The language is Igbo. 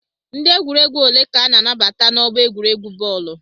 Ndị egwuregwu ole ka a na-anabata n'ọgbọ egwuregwu bọọlụ?